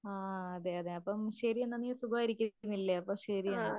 ആഹ് അതെ അതെ ശരിയെന്നാ നീ സുഖമായിരിക്കുന്നില്ലേ അപ്പോ ശരിയെന്നാ.